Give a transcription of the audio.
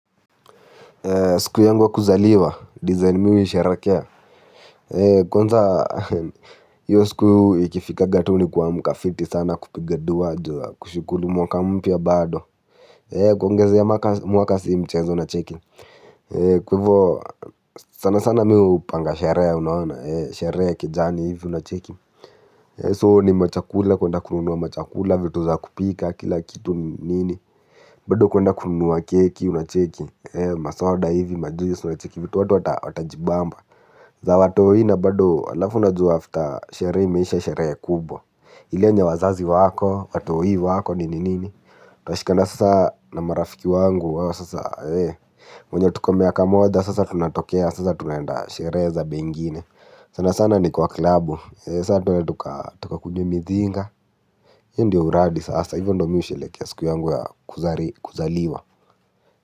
Siku yangu wa kuzaliwa, design miu nisherekea. Kwanza hiyo siku ikifikaga tu ni kwa mkafiti sana kupiga duwa ajua kushukulu mwaka mpya bado. Kwongeziya mwaka si mchezo unacheki. Kwa ivo sana sana miu upanga sherehe unaona, shereya kejani hivi unacheki So ni machakula kuenda kununua machakula vitu za kupika kila kitu nini. Bado kuenda kununua keki unacheki. Masoda hivi majuis unacheki vitu watu watajibamba za watohi na bado alafu na juu after sherehe meesha sherehe kubwa. Ile yenye wazazi wako, watohi wako ni nini. Tuashikana sasa na marafiki wangu wawo sasa. Mwenye tuko miaka moja sasa tunatokea sasa tunaenda sherehe zabe ingine. Sana sana ni kwa klabu. Sasa tuend tuka tukakunywe mithinga. Ndiyo uradi sasa hivyo ndo mi usherehekia siku yangu ya kuzaliwa. Kwa hivyo.